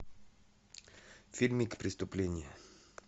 фильм преступление